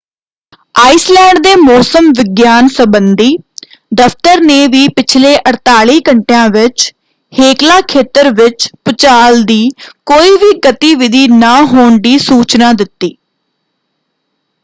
Iceland ਦੇ ਮੌਸਮ ਵਿਗਿਆਨ ਸੰਬੰਧੀ ਦਫ਼ਤਰ ਨੇ ਵੀ ਪਿਛਲੇ 48 ਘੰਟਿਆਂ ਵਿੱਚ ਹੇਕਲਾ ਖੇਤਰ ਵਿੱਚ ਭੂਚਾਲ ਦੀ ਕੋਈ ਵੀ ਗਤੀਵਿਧੀ ਨਾ ਹੋਣ ਦੀ ਸੂਚਨਾ ਦਿੱਤੀ।